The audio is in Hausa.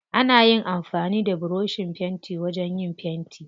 Ana amfani da burushin fenti wajen yin fenti.